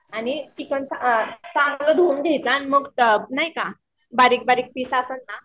आणि चिकन चांगलं धुवून घ्यायचं मग नाही का बारीक बारीक पीस असतात ना